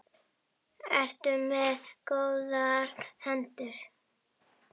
Ertu með góðar hendur?